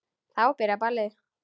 Þá byrjaði ballið.